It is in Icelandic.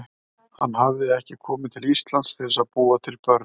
Hann hafði ekki komið til Íslands til að búa til börn.